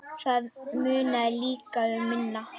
Það munaði líka um minna.